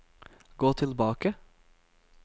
gå tilbake